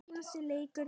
Ert þú Örn?